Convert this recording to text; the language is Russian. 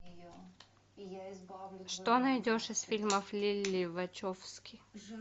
что найдешь из фильмов лилли вачовски